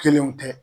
Kelenw tɛ